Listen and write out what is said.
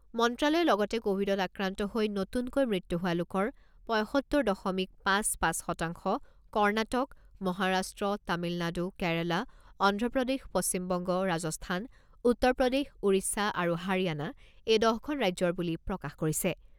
মন্ত্ৰ্যালয়ে লগতে ক'ভিডত আক্ৰান্ত হৈ নতুনকৈ মৃত্যু হোৱা লোকৰ পঁইসত্তৰ দশমিক পাঁচ পাঁচ শতাংশ কৰ্ণাটক, মহাৰাষ্ট্ৰ, তামিলনাড়ু, কেৰালা, অন্ধ্ৰপ্ৰদেশ, পশ্চিমবংগ, ৰাজস্থান, উত্তৰ প্ৰদেশ, ওড়িশা আৰু হাৰিয়ানা এই দহখন ৰাজ্যৰ বুলি প্ৰকাশ কৰিছে।